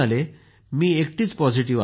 मी एकटीच पॉझिटिव्ह आले होते